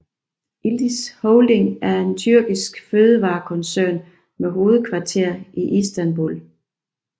Yıldız Holding er en tyrkisk fødevarekoncern med hovedkvarter i Istanbul